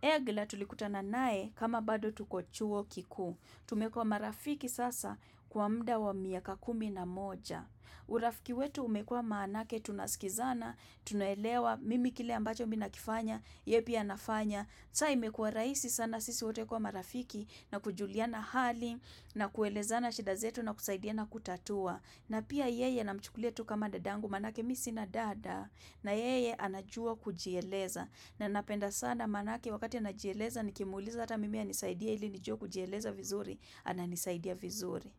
Egla tulikutana nae kama bado tuko chuo kikuu. Tumekua marafiki sasa kwa mda wa miaka kumi na moja. Urafiki wetu umekua maanake tunaskizana, tunaelewa, mimi kile ambacho mi nakifanya, ye pia anafanya. Sa imekua raisi sana sisi wote kua marafiki na kujuliana hali na kuelezana shida zetu na kusaidiana kutatua. Na pia yeye namchukulia tu kama dadangu maanake mi si na dada. Na yeye anajua kujieleza na napenda sana maanake wakati anajieleza nikimuuliza hata mimi anisaidie ili nijue kujieleza vizuri ananisaidia vizuri.